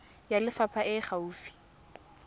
ya lefapha e e gaufi